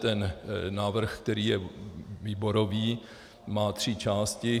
Ten návrh, který je výborový, má tři části.